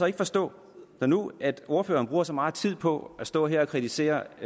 ikke forstå at når nu ordføreren bruger så meget tid på at stå her og kritisere